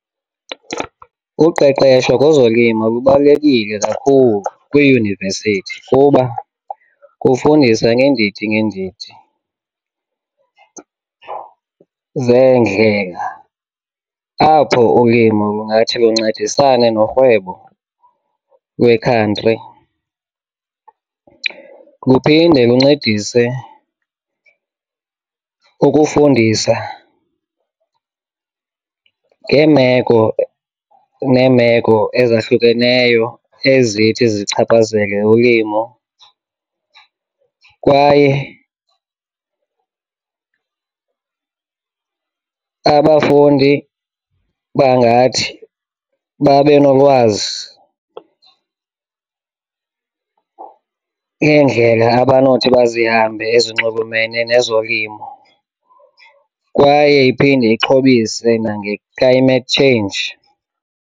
Uqeqesho kwezolimo lubalulekile kakhulu kwiiyunivesithi kuba kufundisa ngeendidi ngeendidi zeendlela apho ulimo lungathi luncedisane norhwebo wekhantri. Kuphinde kuncedise ukufundisa ngeemeko neemeko ezahlukeneyo ezithi zichaphazele ulimo kwaye abafundi bangathi babe nolwazi ngeendlela abanothi bazihambe ezinxulumene nezolimo, kwaye iphinde ixhobise nange-climate change.